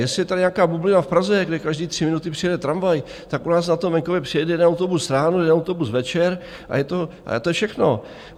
Jestli je tady nějaká bublina v Praze, kde každé tři minuty přijede tramvaj, tak u nás na tom venkově přijede jeden autobus ráno, jeden autobus večer a to je všechno.